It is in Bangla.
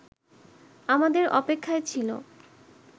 আমাদের অপেক্ষায় ছিল